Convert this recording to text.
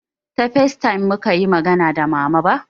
Ta facetime mukayi magana da mama ba